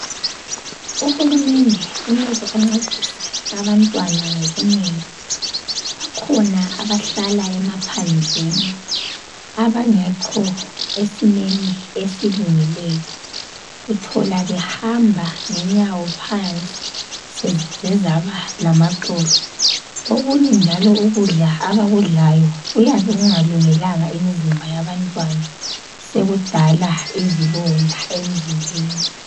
UHulumende kumele ancedise abantwana ngobunengi, bakhona abahlala emaphandleni abangekho esimeni esilungileyo uthola behamba ngenyawo phansi sezize zaba lamaxolo okunye njalo ukudla abakudlayo kuyabe kungalungelanga imizimba yabantwana sekudala izilonda emzimbeni.